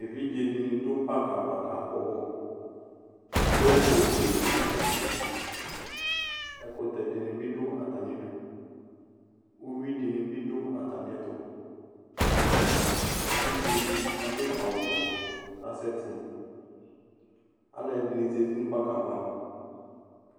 Evidze dini dʋ park ava kakpɔ bɔluGoal post di dʋ atamiduƐkutɛ dini bi dʋ atamiduUwi dini bi dʋ atamiɛtuEvidze di adʋ awu vɛ kasɛti Alu ɛdini zati nʋ park'ava